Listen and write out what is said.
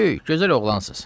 Böyük, gözəl oğlansınız.